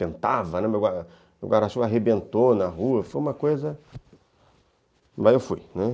Ventava, né, meu guarda-chuva arrebentou na rua, foi uma coisa... Mas eu fui, né.